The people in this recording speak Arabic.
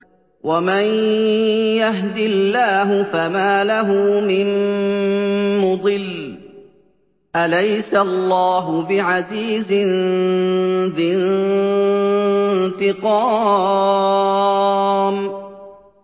وَمَن يَهْدِ اللَّهُ فَمَا لَهُ مِن مُّضِلٍّ ۗ أَلَيْسَ اللَّهُ بِعَزِيزٍ ذِي انتِقَامٍ